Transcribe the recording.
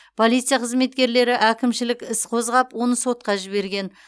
полиция қызметкерлері әкімшілік іс қозғап оны сотқа жіберген